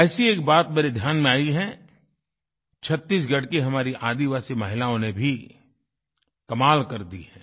वैसे ही एक बात मेरे ध्यान में आई है छत्तीसगढ़ की हमारी आदिवासी महिलाओं ने भी कमाल कर दिया है